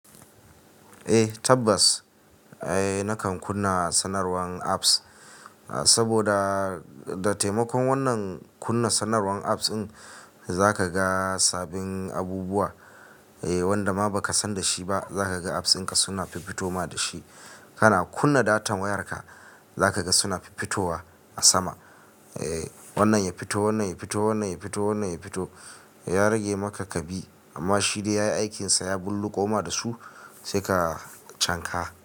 Eh tabbas nakan kunna sanarwan apps, saboda da taimakon wannan kunna sanarwan apps in zaka ga sabbin abubuwa wanda ma baka san dashi ba. Zaka ga apps dinka suna fiffitoma da shi. Kana kunna data wayarka, zaka ga suna fiffitowa a sama. Wannan ya fito, wannan ya fito, wannan ya fito, wannan ya fito. Ya rage maka kabi, amma shi dai yayi aikinsa ya bulluƙo ma dasu sai ka cinka.